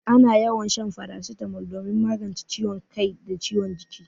Ana yawan shan farasitamol domin magance ciwon kai da ciwon jiki.